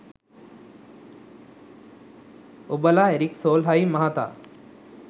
ඔබලා Erik Solheim මහතා